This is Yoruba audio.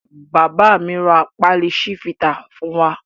Bàbá mi ra pálí Chivita fún wa.